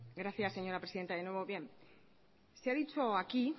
gracias señora presidenta de nuevo se ha dicho aquí